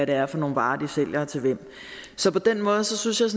er for nogle varer de sælger til hvem så på den måde synes jeg